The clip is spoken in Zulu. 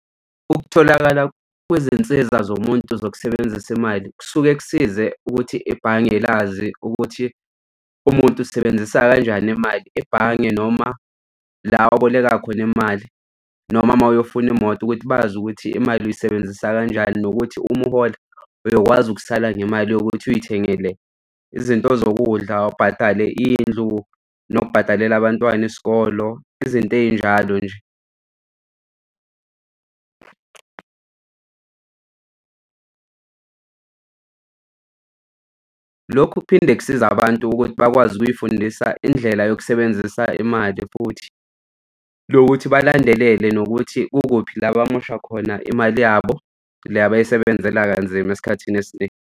Ukutholakala kwezinsiza zomuntu zokusebenzisa imali kusuke kusize ukuthi ebhange lazi ukuthi umuntu usebenzisa kanjani imali ebhange noma la oboleka khona imali noma uma uyofuna imoto ukuthi bazi ukuthi imali uyisebenzisa kanjani nokuthi uma uhola uyokwazi ukusala nemali yokuthi uy'thengele izinto zokudla, ubhadale indlu nokubhadalela abantwana isikolo, izinto ey'njalo nje. Kuphinde kusiza abantu ukuthi bakwazi ukuy'fundisa indlela yokusebenzisa imali futhi lokuthi balandelele nokuthi kukuphi la bamosha khona imali yabo le abayisebenzela kanzima esikhathini esiningi.